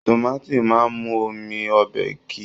Tomaati máa n mú omi ọbẹ kí.